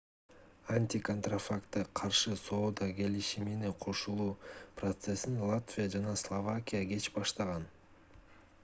антиконтрафактка каршы соода келишимине кошулуу процессин латвия жана словакия кеч баштаган